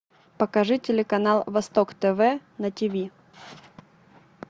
покажи телеканал восток тв на тв